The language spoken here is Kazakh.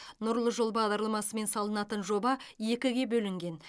нұрлы жол бағдарламасымен салынатын жоба екіге бөлінген